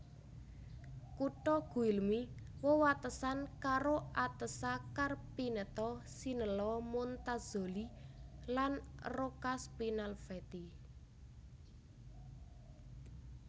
Kutha Guilmi wewatesan karo Atessa Carpineto Sinello Montazzoli lan Roccaspinalveti